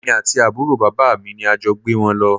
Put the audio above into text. Èmi àti àbúrò bàbá mi ni a jọ gbé wọn lọ